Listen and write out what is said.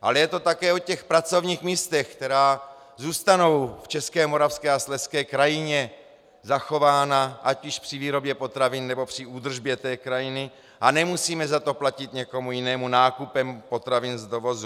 Ale je to také o těch pracovních místech, která zůstanou v české, moravské a slezské krajině zachována ať již při výrobě potravin, nebo při údržbě té krajiny, a nemusíme za to platit někomu jinému nákupem potravin z dovozu.